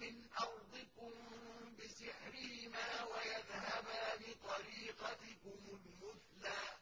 مِّنْ أَرْضِكُم بِسِحْرِهِمَا وَيَذْهَبَا بِطَرِيقَتِكُمُ الْمُثْلَىٰ